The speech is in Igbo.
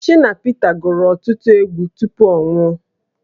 Shina Pita gụrụ ọtụtụ egwu tupu ọ nwụọ